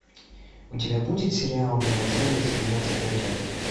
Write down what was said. у тебя будет сериал мимо цели семнадцатая часть